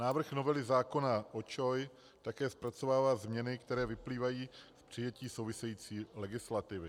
Návrh novely zákona o ČOI také zpracovává změny, které vyplývají z přijetí související legislativy.